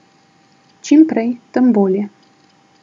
Čim prej, tem bolje.